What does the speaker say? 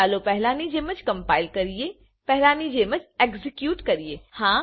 ચાલો પહેલા ની જેમ જ કમ્પાઈલ કરીએપહેલાની જેમ જ એક્ઝેક્યુટ કરીએ